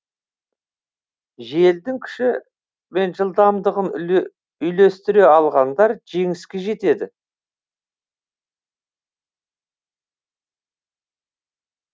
желдің күші мен жылдамдығын үйлестіре алғандар жеңіске жетеді